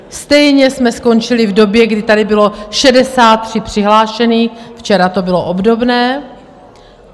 Stejně jsme skončili v době, kdy tady bylo 63 přihlášených, včera to bylo obdobné.